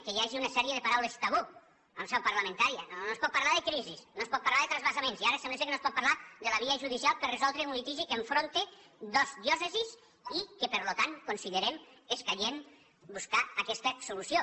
que hi hagi una sèrie de paraules tabú en seu parlamentària no es pot parlar de crisis no es pot parlar de transvasaments i ara sembla que no es pot parlar de la via judicial per a resoldre un litigi que enfronta dos diòcesis i que per tant considerem escaient buscar aquesta solució